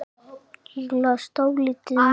Ég las dálítið mikið.